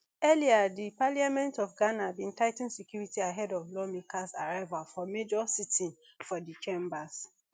earlier di parliament of ghana bin tigh ten security ahead of lawmakers arrival for major sitting for di chambers